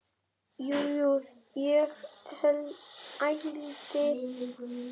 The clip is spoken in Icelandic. Jú, jú, ég ældi.